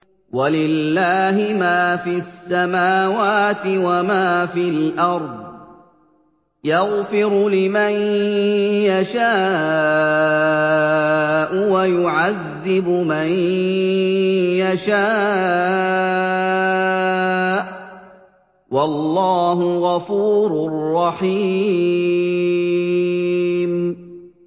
وَلِلَّهِ مَا فِي السَّمَاوَاتِ وَمَا فِي الْأَرْضِ ۚ يَغْفِرُ لِمَن يَشَاءُ وَيُعَذِّبُ مَن يَشَاءُ ۚ وَاللَّهُ غَفُورٌ رَّحِيمٌ